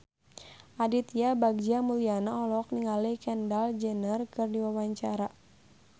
Aditya Bagja Mulyana olohok ningali Kendall Jenner keur diwawancara